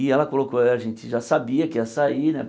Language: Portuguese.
E ela colocou, a gente já sabia que ia sair, né?